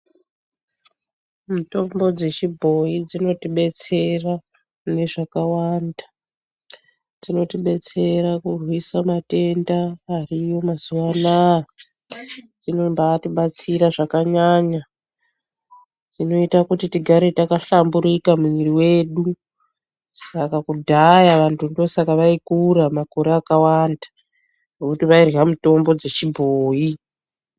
Mitombo dzechibhoyi dzinotibetsera mune zvakawanda, dzinotibetsera kurwisa matenda ariyo mazuwa anaa, dzinombayitibatsira zvakanyanya, dzinoyita kuti tigare rakahlamburika mumwiri wedu, saka kudhaya vantu ndosaka vayikura makore akawanda ,nokuti vayirya mitombo dzechibhoyi.